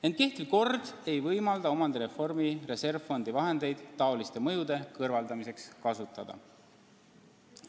Ent kehtiv kord ei võimalda omandireformi reservfondi vahendeid selliste mõjude kõrvaldamiseks kasutada.